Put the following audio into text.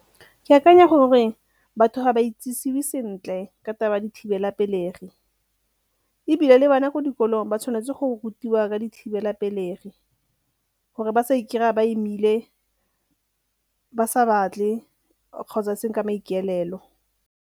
Ke akanya gore batho ga ba itsisiwe sentle ka taba ya dithibelapelegi ebile le bana ko dikolong ba tshwanetse go rutiwa ka dithibelapelegi gore ba sa ikry-a ba imile ba sa batle kgotsa e seng ka maikaelelo.